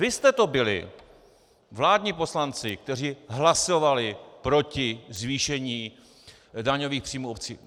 Vy jste to byli, vládní poslanci, kteří hlasovali proti zvýšení daňových příjmů obcí.